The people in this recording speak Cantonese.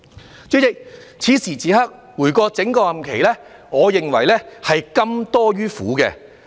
代理主席，此時此刻，回顧我整個任期，我認為是甘多於苦。